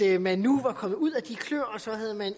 at man nu var kommet ud af de kløer og